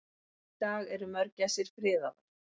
Í dag eru mörgæsir friðaðar.